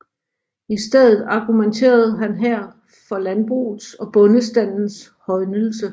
I stedet argumenterede han her for landbrugets og bondestandens højnelse